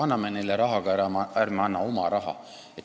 Anname neile raha, aga ärme anna oma raha!